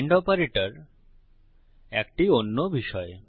and operator একটি অন্য বিষয়